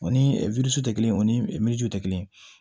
O ni tɛ kelen ye o ni tɛ kelen ye